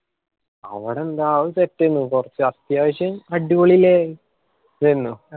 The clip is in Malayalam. അവടെ എന്താ അത് set എന്നെ കൊർച് അത്യാവശ്യം അടിപൊളില് ഏന്നു.